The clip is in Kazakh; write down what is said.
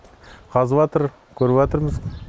қазыпатыр көріпатырмыз